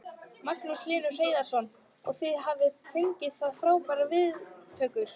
Magnús Hlynur Hreiðarsson: Og þið hafið fengið frábærar viðtökur?